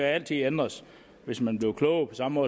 altid ændres hvis man bliver klogere på samme